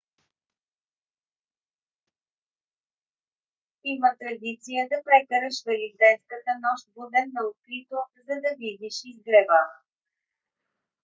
има традиция да прекараш великденската нощ буден на открито за да видиш изгрева